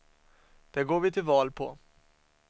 Det går vi till val på.